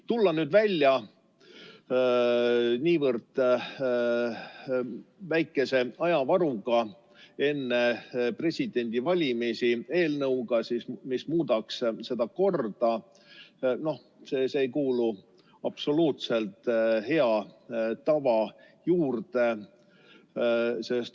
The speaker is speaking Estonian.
Tulla nüüd, niivõrd väikese ajavaruga enne presidendivalimisi välja eelnõuga, mis muudaks seda korda, ei kuulu absoluutselt hea tava juurde.